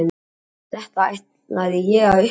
Þetta ætlaði ég að upplifa.